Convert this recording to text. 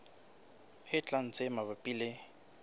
e tlang tse mabapi le